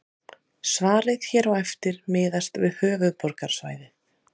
Svarið hér á eftir miðast við höfuðborgarsvæðið.